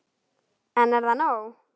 En er það nóg?